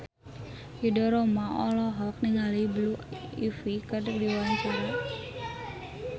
Ridho Roma olohok ningali Blue Ivy keur diwawancara